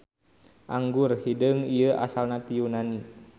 Anggur hideung ieu asalna ti Yunani.